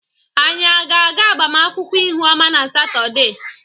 Anyị ga-aga agbamụnkwụ Ihụọma na Satọde.